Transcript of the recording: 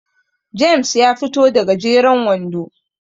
James ya fito da gajeren wando